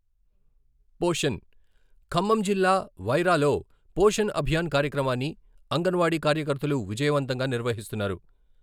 పోషణ్, ఖమ్మం జిల్లా వైరాలో పోషణ్ అభియాన్ కార్యక్రమాన్ని అంగన్వాడీ కార్యకర్తలు విజయవంతంగా నిర్వహిస్తున్నారు.